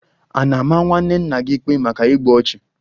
A na-ama nwanne nna gị ikpe maka igbu ọchụ?